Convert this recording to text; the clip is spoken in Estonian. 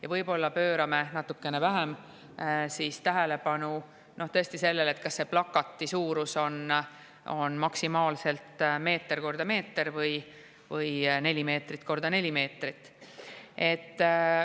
Ja võib-olla pöörame natukene vähem tähelepanu siis sellele, kas plakati suurus on maksimaalselt meeter korda meeter või neli meetrit korda neli meetrit.